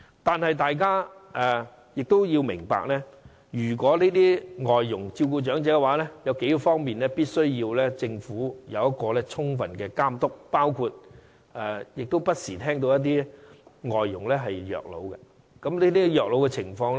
然而，大家也要明白，如果這些外傭是照顧長者的話，政府必須在數方面充分監督，因為我們不時也聽到有外傭虐老的個案。